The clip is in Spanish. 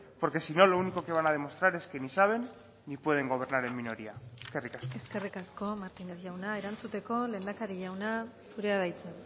porque si no lo único que van a demostrar es que ni saben ni pueden gobernar en minoría eskerrik asko eskerrik asko martínez jauna erantzuteko lehendakari jauna zurea da hitza